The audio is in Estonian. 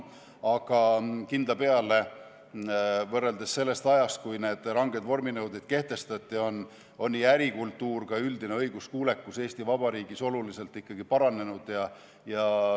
Aga kindla peale, võrreldes selle ajaga, kui need ranged vorminõuded kehtestati, on nii ärikultuur kui ka üldine õiguskuulekus Eesti Vabariigis ikkagi oluliselt paranenud.